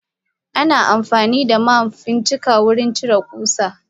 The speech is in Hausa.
Ana amfanida ma fincika wurin ciro kusa.